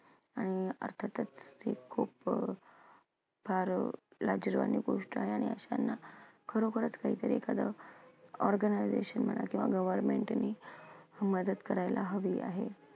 आणि अर्थातच ते खूप अं फार लाजिरवाणी गोष्ट आहे आणि अशांना खरोखरच काहीतर एखादा organisation किंवा government नी मदत करायला हवी आहे.